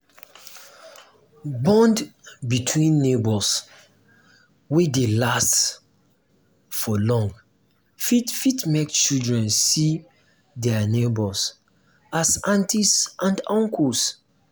bond between neighbours wey dey last for long fit fit make children see um their neighbours as aunties and uncles